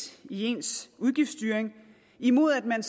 i ens udgiftsstyring imod at man